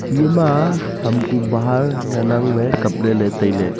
eye ma ham kuh bahar ngan ang ley kap ley ley tailey.